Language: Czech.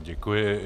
Děkuji.